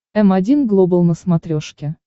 м один глобал на смотрешке